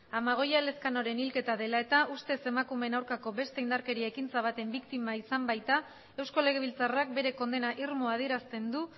amagoia elezkanoren hilketa dela eta ustez emakumeen aurkako beste indarkeri ekintza baten biktima izan baita eusko legebiltzarrak bere kondena irmoa adierazten du